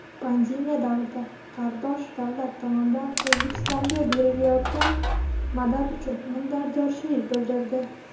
Pandemiya davrida qardosh davlat tomonidan O‘zbekistonga berilayotgan madad uchun minnatdorchilik bildirdi.